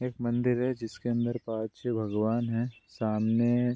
एक मंदिर है जिसके अंदर पांच-छै भगवान हैं सामने --